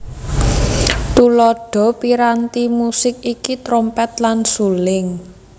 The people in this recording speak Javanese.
Tuladha piranti musik iki trompet lan suling